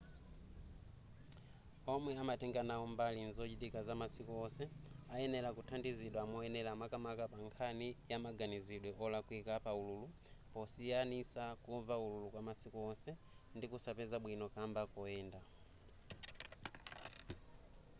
omwe amatenga nawo mbali nzochitika zamasiku onse ayenera kuthandizidwa moyenera makamaka pa nkhani yamaganizilidwe olakwika pa ululu posiyanisa kumva ululu kwamasiku onse ndi kusapeza bwino kamba koyenda